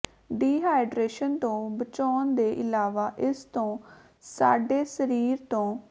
dehydration ਤੋਂ ਬਚਾਉਣ ਦੇ ਇਲਾਵਾ ਇਸ ਤੋਂ ਸਾਡੇ ਸਰੀਰ ਤੋਂ